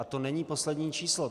A to není poslední číslo.